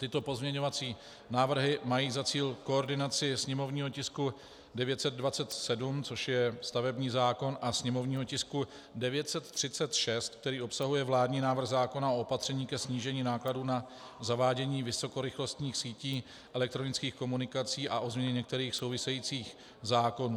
Tyto pozměňovací návrhy mají za cíl koordinaci sněmovního tisku 927, což je stavební zákon, a sněmovního tisku 936, který obsahuje vládní návrh zákona o opatření ke snížení nákladů na zavádění vysokorychlostních sítí elektronických komunikací a o změně některých souvisejících zákonů.